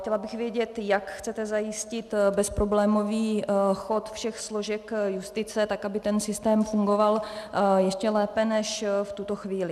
Chtěla bych vědět, jak chcete zajistit bezproblémový chod všech složek justice, tak aby ten systém fungoval ještě lépe než v tuto chvíli.